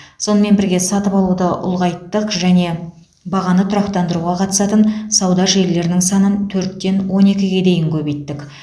сонымен бірге сатып алуды ұлғайттық және бағаны тұрақтандыруға қатысатын сауда желілерінің санын төрттен он екіге дейін көбейттік